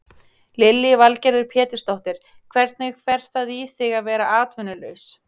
Lillý Valgerður Pétursdóttir: Hvernig fer það í þig að vera atvinnulaus?